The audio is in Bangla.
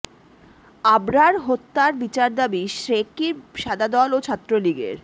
আবরার হত্যার বিচার দাবি শেকৃবি সাদা দল ও ছাত্রলীগের